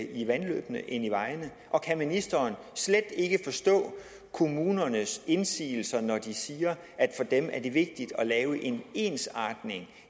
i vandløbene end i vejene og kan ministeren slet ikke forstå kommunernes indsigelser når de siger at for dem er det vigtigt at lave en ensartethed